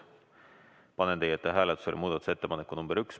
Panen teie ette hääletusele muudatusettepaneku nr 1.